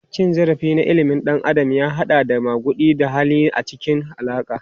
Cin zarafi na ilimin halin ɗan adam ya haɗa da maguɗi da lahani a cikin alaƙa.